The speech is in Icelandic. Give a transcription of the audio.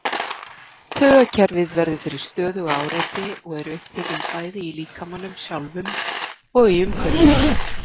Taugakerfið verður fyrir stöðugu áreiti og eru upptökin bæði í líkamanum sjálfum og í umhverfinu.